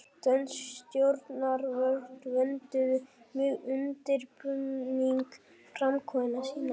Dönsk stjórnvöld vönduðu mjög undirbúning framkvæmda sinna.